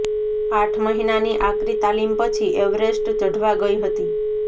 આઠ મહિનાની આકરી તાલીમ પછી એવરેસ્ટ ચઢવા ગઈ હતી